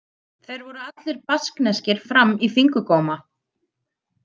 Þeir voru allir baskneskir fram í fingurgóma.